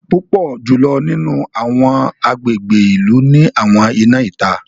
Púpọ jùlọ nínú awọn agbègbè ìlú ni àwọn iná ìta.